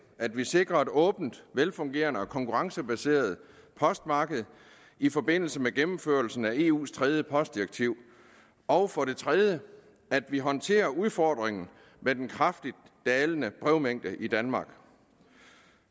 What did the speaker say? at vi sikrer et åbent velfungerende og konkurrencebaseret postmarked i forbindelse med gennemførelsen af eus tredje postdirektiv og for det tredje at vi håndterer udfordringen med den kraftigt dalende brevmængde i danmark